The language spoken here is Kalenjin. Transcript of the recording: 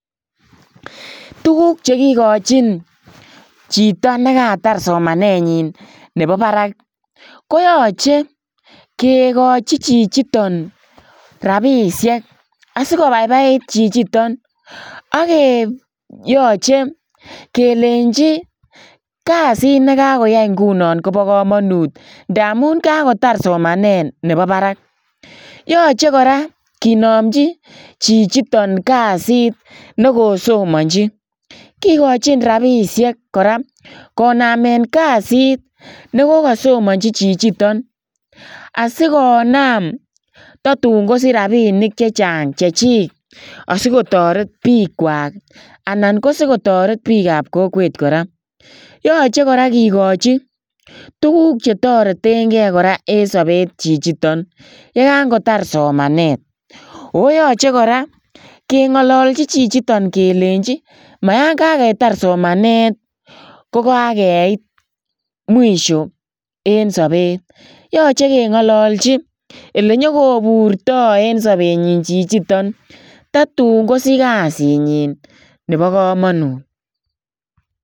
Tuguuk che kigachiin chitoo negaatar somanet nyiin nebo barak koyachei kigachiin chichitoon rapisheek asikobaibaiit chichitoon age yachei kelechi kazit nekakoyaiai Kobo kamanut ndamuun kakotaar somanet nebo barak yachei kora kinamjii chichitoon kazit nekosomaji kikochiin chichitoon rapisheek kora konameen kazit nekokasomanjii chichitoon asikonam tatun kosiich rapisheek chechaang Chechik asikotoret biik kwaak anan asikotoret biik ab kokweet kora yachei kora kigachii tuguuk che tareteen gei en sabeet chichitoon ye kangotaar somanet ago yachei kora ke ngalaljiin chichitoon kelechi mayaan kagetaar somanet kogageit [mwisho] en sabeet yachei kengalachii ole nyokoburto en sabenyiin chichitoon tatuun kosiich kazit nyiin nebo kamanut.